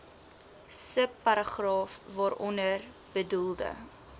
subparagraaf waaronder bedoelde